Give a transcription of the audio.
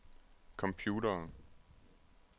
computere